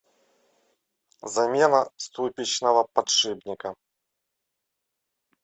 замена ступичного подшипника